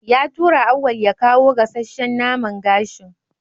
Ya tura Auwal ya kawo gasasshan naman gashin.